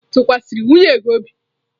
Ị tụkwasịrị nwunye gị obi?